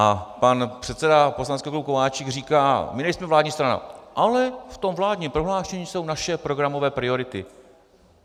A pan předseda poslaneckého klubu Kováčik říká: my nejsme vládní strana, ale v tom vládním prohlášení jsou naše programové priority.